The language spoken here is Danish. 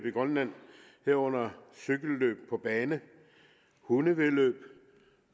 i grønland herunder cykelløb på bane hundevæddeløb